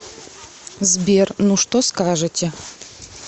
сбер ну что скажете